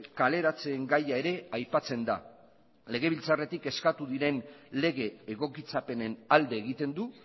kaleratzeen gaia ere aipatzen da legebiltzarretik eskatu diren lege egokitzapenen alde egiten du